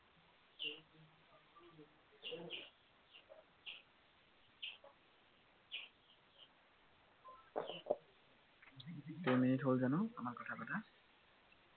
কেইমিনিট হল জানো আমাৰ কথা পতা